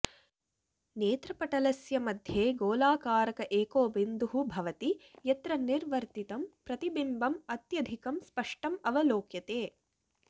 नेत्रपटलस्य मध्ये गोलाकारक एको बिन्दुः भवति यत्र निर्वर्तितं प्रतिबिम्बम् अत्यधिकं स्पष्टम् अवलोक्यते